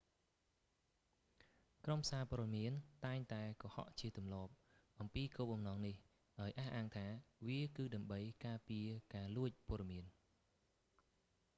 ក្រុមសារព័ត៌មានតែងតែកុហកជាទម្លាប់ អំពីគោលបំណងនេះ ដោយអះអាងថា វាគឺដើម្បី ការពារការលួចព័ត៌មាន